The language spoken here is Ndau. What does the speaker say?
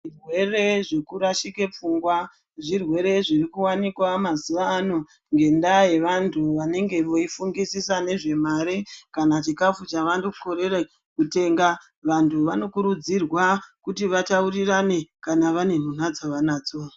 Zvirwere zvekurashike pfungwa zvirwere zviri kuwanikwa mazuva ano ngendaa yevantu venenge veifungisisa nezvemare kana chikafu chavanokorere kutenga. Vantu vanokurudzirwa kuti vataurirane kana vane nhunha dzavanadzo.